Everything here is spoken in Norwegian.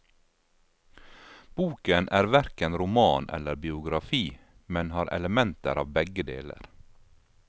Boken er hverken roman eller biografi, men har elementer av begge deler.